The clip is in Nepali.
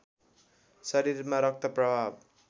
शरीरमा रक्त प्रवाह